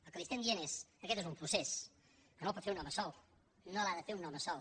el que li diem és aquest és un procés que no el pot fer un home sol no l’ha de fer un home sol